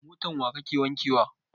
Motan wa kake wanke wa?